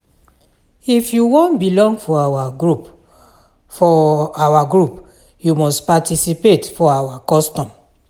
If you wan belong for our group, for our group, you must participate for our custom.